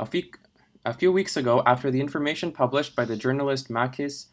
a few weeks ago after the information published by the journalist makis